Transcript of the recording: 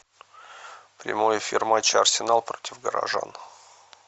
прямой эфир матча арсенал против горожан